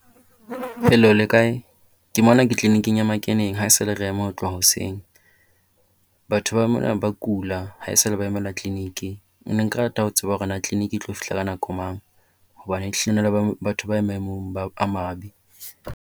Hello le kae? Ke mona ke tleleniking ya makeneng haesale re ema ho tloha hoseng. Batho ba mona ba kula haesale ba emela tleleniki. Nne ka rata ho tseba hore na tleleniki e tlo fihla ka nako mang? Hobane ehlile batho ba maemong ba a mabe.